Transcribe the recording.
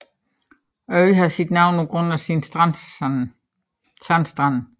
Øen har sit navn på grund af sine sandstrande